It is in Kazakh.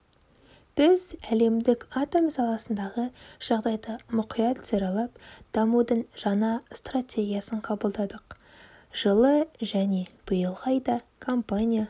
біз әлемдік атом саласындағы жағдайды мұқият саралап дамудың жаңа стратегиясын қабылдадық жылы және биылғы айда компания